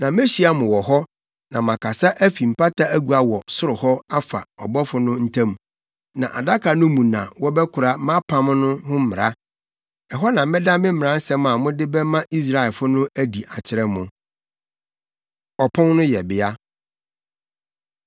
Na mehyia mo wɔ hɔ na makasa afi mpata agua wɔ soro hɔ afa abɔfo no ntam. Na adaka no mu na wɔbɛkora mʼapam no ho mmara. Ɛhɔ na mɛda me mmaransɛm a mode bɛma Israelfo no adi akyerɛ mo. Ɔpon No Yɛbea